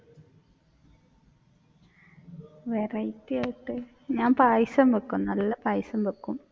variety ആയിട്ട് ഞാൻ പായസം വെക്കും നല്ല പായസം വെക്കും.